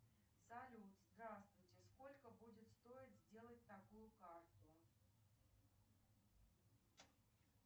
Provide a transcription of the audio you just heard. салют здравствуйте сколько будет стоить сделать такую карту